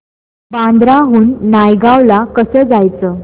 बांद्रा हून नायगाव ला कसं जायचं